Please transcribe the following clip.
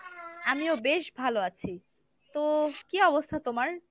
আমিও বেশ ভালো আছি, তো কি অবস্থা তোমার?